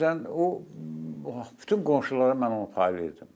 Məsələn, o bütün qonşulara mən onu paylayırdım.